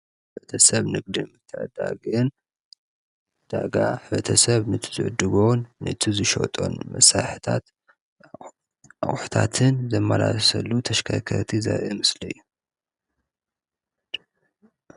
ሕብረተሰብ ንግድን ምትዕድዳግን ዕዳጋ ሕብረተሰብ ነቲ ዝዕድጎን እቲ ዝሸጦን መመሳሪሒታት ኣቁሑታትን ዘመላልሰሉ ተሽከርከርቲ ዘርኢ ምስሊእዩ።